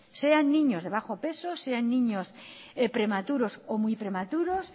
sean niños de bajo peso sean niños prematuros o muy prematuros